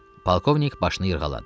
Polkovnik başını yırğaladı.